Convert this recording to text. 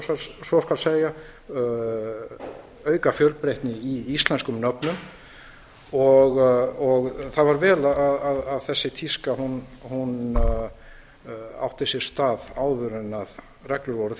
ef svo skal segja auka fjölbreytni í íslenskum nöfnum og það var vel að þessi tíska átti sér stað áður en reglur voru